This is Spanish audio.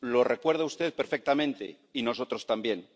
Lo recuerda usted perfectamente, y nosotros también.